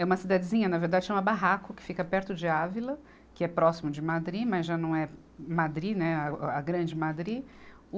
É uma cidadezinha, na verdade, chama barraco que fica perto de Ávila, que é próximo de Madri, mas já não é Madri, né a, a grande Madri. O